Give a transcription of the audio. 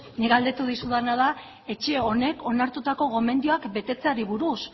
nik galdetu dizudana da etxe honek onartutako gomendioak betetzeari buruz